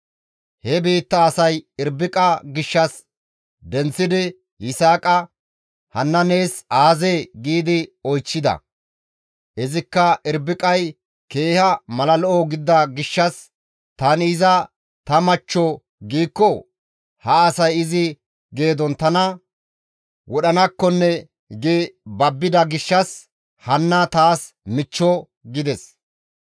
He biitta asay Irbiqa gishshas denththidi Yisaaqa, «Hanna nees aazee?» gi oychchida. Izikka Irbiqay keeha mala lo7o gidida gishshas, «Tani iza ta machcho giikko ha asay izi geedon tana wodhanakkonne» gi babbida gishshas, «Hanna taas michcho» gides.